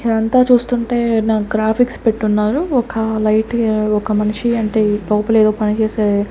ఇదంతా చూస్తుంటే నా గ్రాఫిక్స్ పెట్టున్నారు ఒక లైట్ గా ఒక మనిషి అంటే లోపల ఏదో పని చేసే--